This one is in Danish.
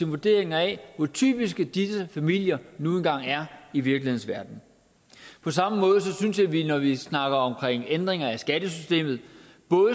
vurderinger af hvor typiske disse familier nu engang er i virkelighedens verden på samme måde synes jeg at vi når vi snakker om ændringer af skattesystemet